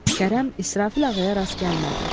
Kərəm İsrafil ağaya rast gəlmədi.